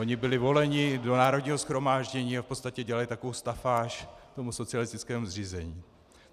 Oni byli voleni do Národního shromáždění a v podstatě dělali takovou stafáž tomu socialistickému zřízení.